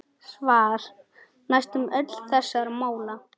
Svar: Næstum öll þessara mála